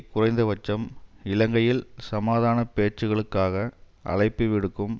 குறைந்தபட்சம் இலங்கையில் சமாதான பேச்சுக்களுக்காக அழைப்புவிடுக்கும்